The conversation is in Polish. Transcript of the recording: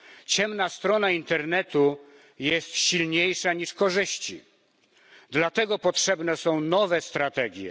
Ciemna strona internetu jest silniejsza niż korzyści, dlatego potrzebne są nowe strategie.